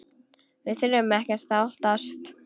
Við þurfum ekkert að óttast!